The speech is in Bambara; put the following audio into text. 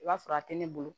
I b'a sɔrɔ a tɛ ne bolo